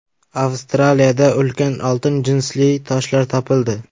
Avstraliyada ulkan oltin jinsli toshlar topildi.